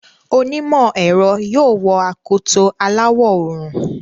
Onímọ̀ ẹ̀rọ yóò wọ akoto aláwọ̀ òòrùn.